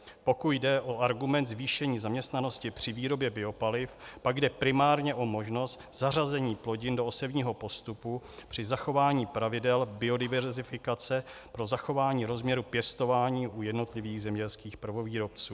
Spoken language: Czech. Pokud jde o argument zvýšení zaměstnanosti při výrobě biopaliv, pak jde primárně o možnost zařazení plodin do osevního postupu při zachování pravidel biodiverzifikace pro zachování rozměru pěstování u jednotlivých zemědělských prvovýrobců.